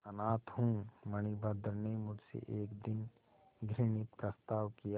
अनाथ हूँ मणिभद्र ने मुझसे एक दिन घृणित प्रस्ताव किया